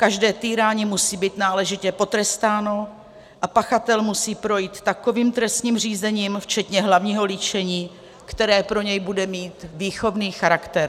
Každé týrání musí být náležitě potrestáno a pachatel musí projít takovým trestním řízením včetně hlavního líčení, které pro něj bude mít výchovný charakter.